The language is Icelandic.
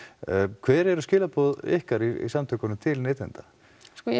hver eru skilaboð ykkar í samtökunum til neytenda sko ég